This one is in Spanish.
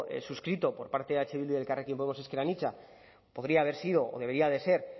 suscrito por parte eh bildu y elkarrekin podemos ezker anitza podría haber sido o debería de ser